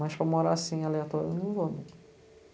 Mas para morar assim, aleatório, eu não vou.